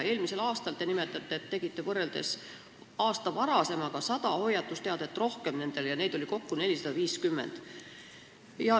Eelmise aasta kohta te nimetasite, et tegite nendele võrreldes aasta varasemaga 100 hoiatusteadet rohkem, neid oli kokku 450.